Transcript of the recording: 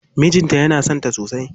Mijin ta yana son ta sosai.